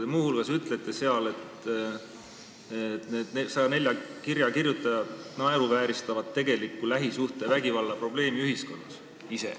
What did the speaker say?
Te muu hulgas ütlete seal, et need 104 kirja kirjutajat ise naeruvääristavad tegelikku lähisuhtevägivalla probleemi ühiskonnas.